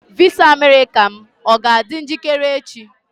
Visa Amerịka m ga-adị njikere echi?